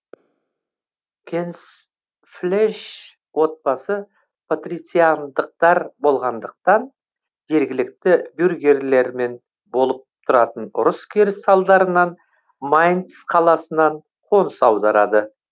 генсфлейш отбасы патрициандықтар болғандықтан жергілікті бюргерлермен болып тұратын ұрыс керіс салдарынан майнц қаласынан қоныс аударады